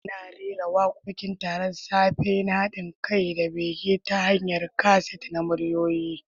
Ana rera wakokin taron safe na hadin kai da bege ta hanyar kaset na muryoyi.